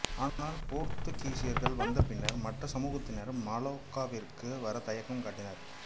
ஆனால் போர்த்துகீசியர்கள் வந்த பின்னர் மற்ற சமூகத்தினர் மலாக்காவிற்கு வர தயக்கம் காட்டினர்